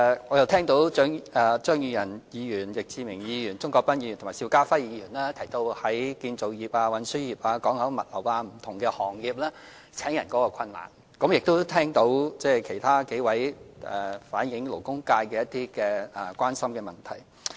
我聽到張宇人議員、易志明議員、鍾國斌議員和邵家輝議員提到建造業、運輸業、港口物流等不同行業面對招聘人手的困難，亦聽到其他數位議員反映勞工界關心的問題。